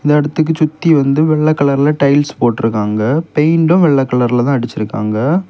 இந்த இடத்துக்கு சுத்தி வந்து வெள்ள கலர்ல டைல்ஸ் போட்டிருக்காங்க பெயிண்டும் வெள்ளை கலர்லதா அடிச்சிருக்காங்க.